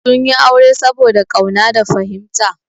Sun yi aure saboda ƙauna da fahimta.